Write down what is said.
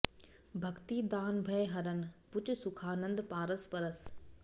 भक्ति दान भय हरन भुज सुखानंद पारस परस